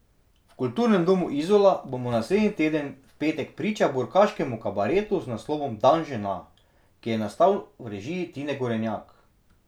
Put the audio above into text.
V Kulturnem domu Izola bomo naslednji teden v petek priča burkaškemu kabaretu z naslovom Dan žena, ki je nastal v režiji Tine Gorenjak.